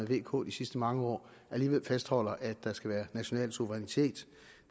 vk de sidste mange år alligevel fastholder at der skal være national suverænitet